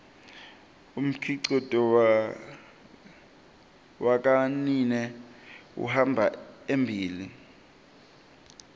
umkhicito wakanike uhamba embile